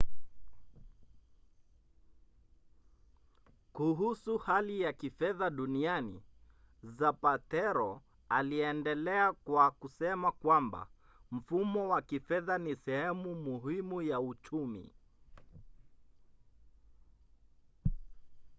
kuhusu hali ya kifedha duniani zapatero aliendelea kwa kusema kwamba mfumo wa kifedha ni sehemu muhimu ya uchumi